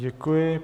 Děkuji.